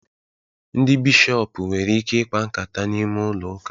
Ndị bishọpu nwere ike ikpa nkata n'ime ụlọ uka